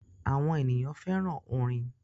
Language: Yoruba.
Awọn eniyan fẹran orin